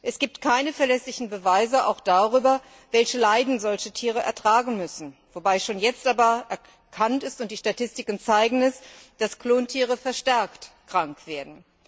Es gibt keine verlässlichen Beweise darüber, welche Leiden solche Tiere ertragen müssen, wobei aber schon jetzt erkannt ist und die Statistiken zeigen es dass Klontiere verstärkt krank werden.